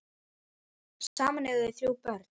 Saman eiga þau þrjú börn.